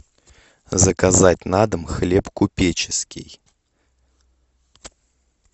заказать на дом хлеб купеческий